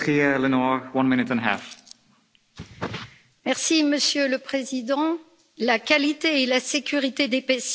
Monsieur le Président, la qualité et la sécurité des patients doivent être toujours notre priorité.